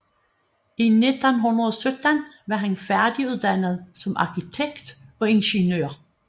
I 1917 var han færdiguddannet som arkitekt og ingeniør